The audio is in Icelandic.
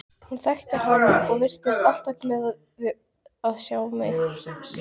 Hún þekkti hann og virtist alltaf glöð að sjá hann.